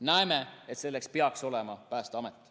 Näeme, et selleks peaks olema Päästeamet.